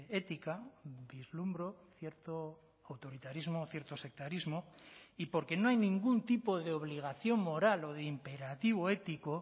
ética vislumbro cierto autoritarismo o cierto sectarismo y porque no hay ningún tipo de obligación moral o de imperativo ético